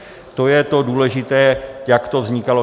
To je to důležité, jak to vznikalo.